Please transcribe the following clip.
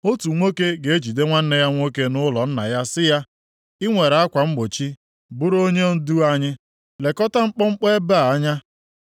Otu nwoke ga-ejide nwanne ya nwoke nʼụlọ nna ya sị ya, “I nwere akwa mgbochi, bụrụ onyendu anyị; lekọta mkpọmkpọ ebe a anya.”